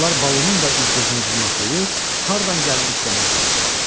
Onlar Balunun da üz-gözünü cırmaqlayır, hardan gəldi dişləməyə çalışırdılar.